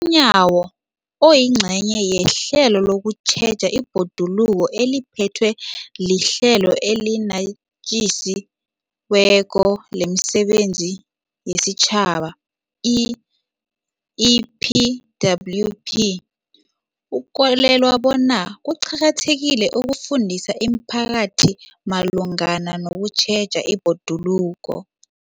UNyawo, oyingcenye yehlelo lokutjheja ibhoduluko eliphethwe liHlelo eliNatjisi weko lemiSebenzi yesiTjhaba, i-EPWP, ukholelwa bona kuqakathekile ukufundisa imiphakathi malungana nokutjheja ibhoduluko.